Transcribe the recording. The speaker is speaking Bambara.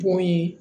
Bon ye